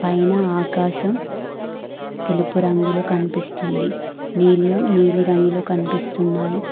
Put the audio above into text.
పైన ఆకాశం తెలుపు రంగులు కనిపిస్తుంది నీళ్లు నీలి రంగులో కనిపిస్తున్నాయి.